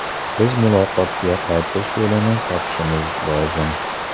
Biz muloqotga qaytish yo‘lini topishimiz lozim.